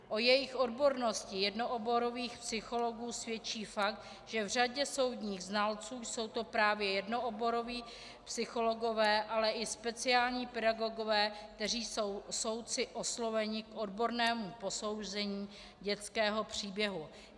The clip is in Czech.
O jejich odbornosti jednooborových psychologů svědčí fakt, že v řadě soudních znalců jsou to právě jednooboroví psychologové, ale i speciální pedagogové, kteří jsou soudci osloveni k odbornému posouzení dětského příběhu.